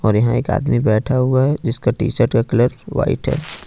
यहां एक आदमी बैठा हुआ है जिसका टी शर्ट का कलर व्हाइट है।